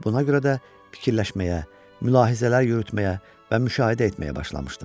Buna görə də fikirləşməyə, mülahizələr yürütməyə və müşahidə etməyə başlamışdım.